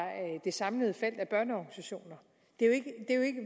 det samlede felt af børneorganisationer